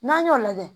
N'an y'o lajɛ